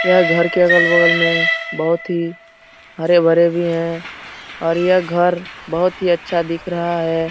यह घर के अगल-बगल में बहुत ही हरे-भरे भी है और यह घर बहुत ही अच्छा दिख रहा है।